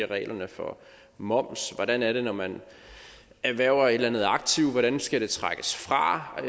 reglerne for moms hvordan er det når man erhverver et eller andet aktiv hvordan skal det trækkes fra og